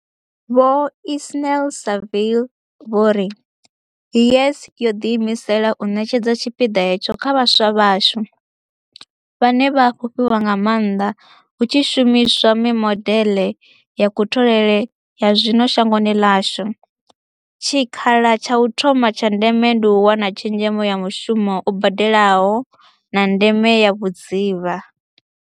Vho Ismail-Saville vho ri YES yo ḓiimisela u ṋetshedza tshipiḓa hetsho kha vhaswa vhashu, vhane vha a fhufhiwa nga maanḓa hu tshi shumiswa mimodeḽe ya kutholele ya zwino shangoni ḽashu, tshikhala tsha u thoma tsha ndeme ndi u wana tshezhemo ya mushumo u badelaho, na ndeme ya vhudzivha.